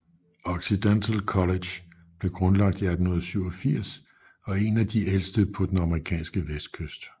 Occidental College blev grundlagt i 1887 og er en af de ældste på den amerikanske vestkyst